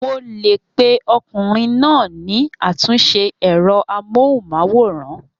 Mo lè pe ọkùnrin náà ní àtúnṣe ẹ̀rọ amóhùnmáwòrán.